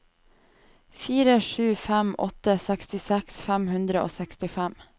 fire sju fem åtte sekstiseks fem hundre og sekstifem